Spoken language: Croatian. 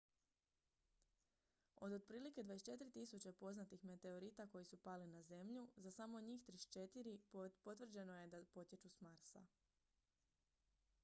od otprilike 24.000 poznatih meteorita koji su pali na zemlju za samo njih 34 potvrđeno je da potječu s marsa